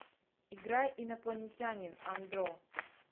играй инопланетянин андро